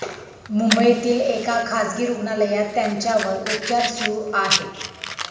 मुंबईतील एका खासगी रुग्णालयात त्यांच्यावर उपचार सुरू आहेत.